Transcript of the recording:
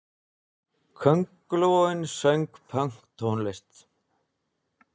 Köngulóin söng pönktónlist!